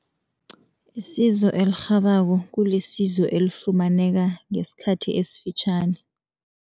Isizo elirhabako kulisizo elifumaneka ngesikhathi esifitjhani.